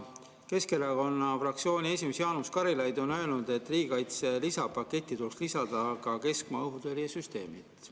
Keskerakonna fraktsiooni esimees Jaanus Karilaid on öelnud, et riigikaitse lisapaketti tuleks lisada ka keskmaa õhutõrje süsteemid.